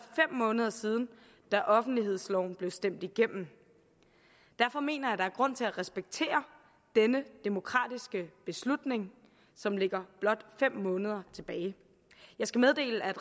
fem måneder siden da offentlighedsloven blev stemt igennem derfor mener jeg at der er grund til at respektere denne demokratiske beslutning som ligger blot fem måneder tilbage jeg skal meddele at